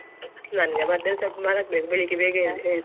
ನಂಗೆ ಮಧ್ಯಾಹ್ನ ಸ್ವಲ್ಪ ಮಲಗ್ಬೇಕು ಬೆಳಿಗ್ಗೆ ಬೇಗ ಏಳ್ ಏಳ್~